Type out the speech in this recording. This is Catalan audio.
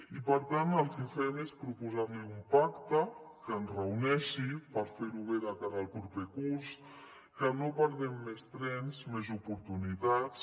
i per tant el que fem és proposar li un pacte que ens reuneixi per fer ho bé de cara al proper curs que no perdem més trens més oportunitats